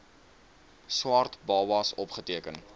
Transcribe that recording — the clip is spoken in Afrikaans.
swart babas opgeteken